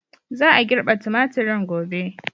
Za a girbe tumaturin gobe.